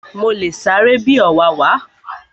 Mo le sáré bi ọ̀wàwà